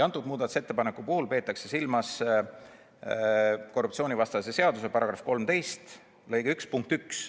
Selle muudatusettepaneku puhul peetakse silmas korruptsioonivastase seaduse § 13 lõike 1 punkti 1.